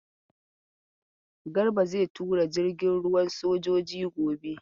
Garba zai tura jirgin ruwan sojoji gobe.